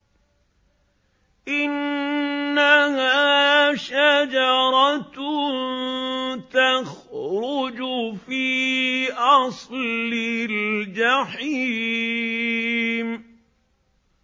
إِنَّهَا شَجَرَةٌ تَخْرُجُ فِي أَصْلِ الْجَحِيمِ